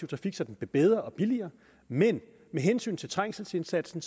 trafik så den blev bedre og billigere men med hensyn til trængselsindsatsen